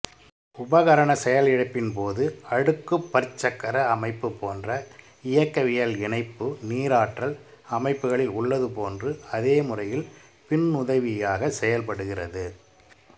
உபகரண செயலிழப்பின்போது அடுக்குப் பற்சக்கர அமைப்பு போன்ற இயக்கவியல் இணைப்பு நீராற்றல் அமைப்புக்களில் உள்ளதுபோன்று அதே முறையில் பின்னுதவியாக செயல்படுகிறது